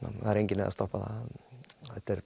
það er engin leið að stoppa það